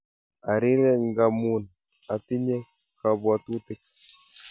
Arire ngamun anitinye kapwatutik